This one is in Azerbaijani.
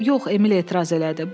Yox, Emil etiraz elədi.